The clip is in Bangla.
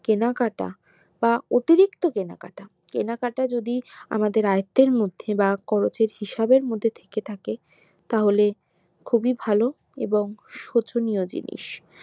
কেনাকাটা বা অতিরিক্ত কেনাকাটা কেনাকাটা যদি আমাদের আয়তের মধ্যে বা কবচের মধ্যে থেকে থাকে তাহলে খুবই ভালো এবং শোচনীয় জিনিস